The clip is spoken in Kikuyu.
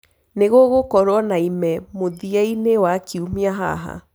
nigugukorwo na ime mũthia ini wa kĩumĩa haha